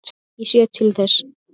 Ég sé til þess.